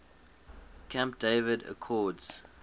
camp david accords